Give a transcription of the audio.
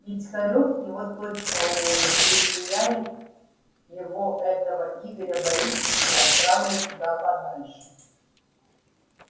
ведь хорёк его точно уволит если я его этого игоря борисовича отправлю куда подальше